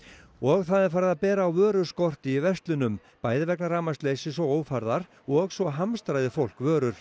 og það er farið að bera á vöruskorti í verslunum bæði vegna rafmagnsleysis og ófærðar og svo hamstraði fólk vörur